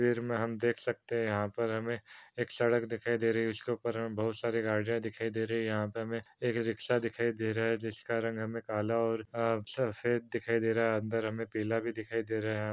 तस्वीर मे हम देख सकते हैं यहाँ पर हमें एक सड़क दिखाई दे रही है। उस के ऊपर हमें बहोत सारी गाड़ियां दिखाई दे रही है। यहाँ पे हमें एक रिक्शा दिखाई दे रहा है जिसका रंग हमें काला और अ सफेद दिखाई दे रहा है। अंदर हमने पीला भी दिखाई दे रहा है हमें यहाँ पर।